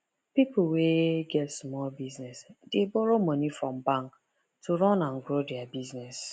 people wey get small business dey borrow money from bank to run and grow their business